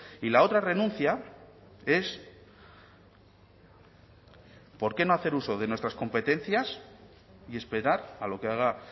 y la otra renuncia es por qué no hacer uso de nuestras competencias y esperar a lo que haga